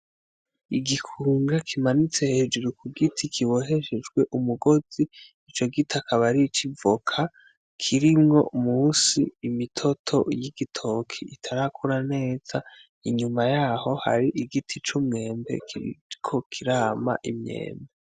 Igikunga kimanitse hejuru ku giti kiboheshwejwe umugozi, ico giti akaba ari ic'ivoka, kirimwo mu nsi imitoto y'igitoke itarakura neza. Inyuma yaho hari igiti c'umwembe kiriko kirama imyembe.